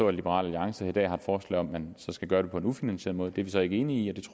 at liberal alliance i dag har forslag om at man skal gøre det på en ufinansieret måde det er vi så ikke enige